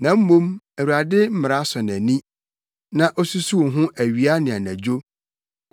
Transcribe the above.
Na mmom, Awurade mmara sɔ nʼani, na osusuw ho awia ne anadwo.